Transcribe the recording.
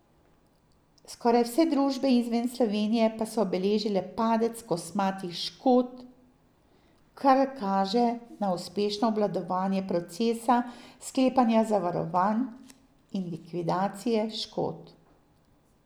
Skoraj vse družbe izven Slovenije pa so beležile padec kosmatih škod, kar kaže na uspešno obvladovanje procesa sklepanja zavarovanj in likvidacije škod.